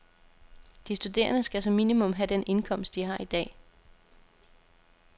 De studerende skal som minimum have den indkomst, de har i dag.